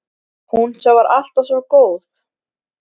Hún sem var alltaf svo góð.